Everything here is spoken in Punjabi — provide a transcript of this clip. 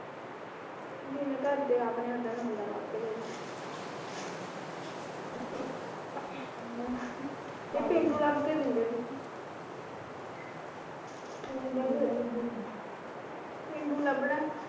ਜਿਵੇਂ ਘਰ ਦੇ ਆਪ ਨੇ ਉਦਾ ਦਾ ਮੁੰਡਾ ਲੱਭ ਦੇ ਦੇਣਗੇ ਇਹ ਪੇਂਡੂ ਲੱਭ ਕੇ ਦਿੰਦੇ ਦੀਦੀ ਪੇਂਡੂ ਲਭਣਾ